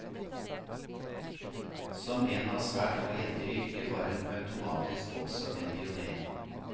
Som en av svært få jenter i yrket var hun automatisk også en pionér.